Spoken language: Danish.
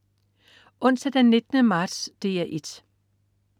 Onsdag den 19. marts - DR 1: